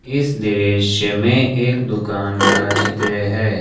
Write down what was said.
इस दृश्य में एक दुकान का चित्र है।